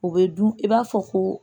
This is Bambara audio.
O bɛ dun i b'a fɔ ko